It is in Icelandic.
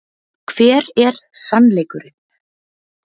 Hver er SANNLEIKURINN?